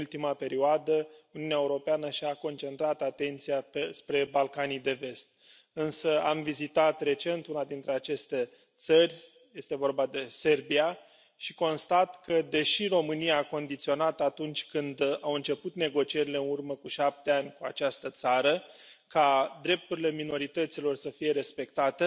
În ultima perioadă, Uniunea Europeană și a concentrat atenția spre Balcanii de Vest, însă am vizitat recent una dintre aceste țări este vorba de Serbia și constat că, deși România a condiționat, atunci când au început negocierile în urmă cu 7 ani cu această țară, ca drepturile minorităților să fie respectate,